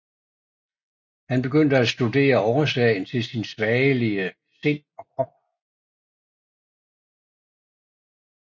Han begyndte at studere årsagen til sit svagelige sind og krop